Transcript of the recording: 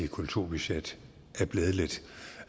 kulturbudget er blevet lidt